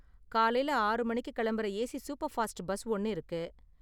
காலைல ஆறு மணிக்கு கிளம்புற ஏசி சூப்பர்ஃபாஸ்ட் பஸ் ஒன்னு இருக்கு.